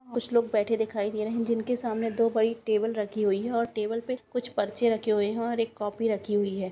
कुछ लोग बेठे दिखाई दे रहें हैं जिन के सामने दो बड़ी टेबल रखी हुई है और टेबल पे कुछ पर्चे रखे हुए हैं और एक कॉपी रखी हुई है।